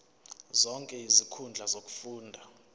zonke izinkundla zokufunda